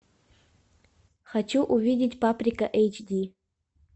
хочу увидеть паприка эйч ди